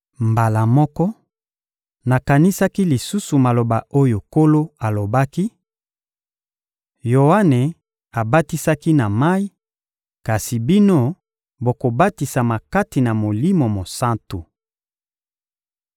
Mbala moko, nakanisaki lisusu maloba oyo Nkolo alobaki: «Yoane abatisaki na mayi; kasi bino, bokobatisama kati na Molimo Mosantu.»